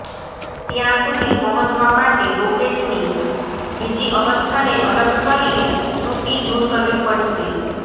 ત્યાં સુધી પહોંચવા માટે રોકેટની બીજી અવસ્થાને અલગ કરીને ત્રુટિ દૂર કરવી પડશે